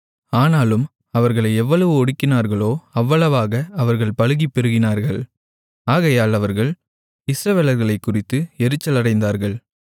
ஆனாலும் அவர்களை எவ்வளவு ஒடுக்கினார்களோ அவ்வளவாக அவர்கள் பலுகிப் பெருகினார்கள் ஆகையால் அவர்கள் இஸ்ரவேலர்களைக்குறித்து எரிச்சல் அடைந்தார்கள்